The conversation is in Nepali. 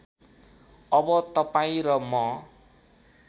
अब तपाईँ र म